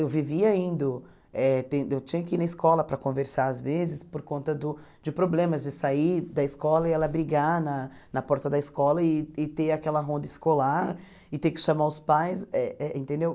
Eu vivia indo, eh ten eu tinha que ir na escola para conversar às vezes por conta do de problemas, de sair da escola e ela brigar na na porta da escola e e ter aquela ronda escolar e ter que chamar os pais, eh eh entendeu?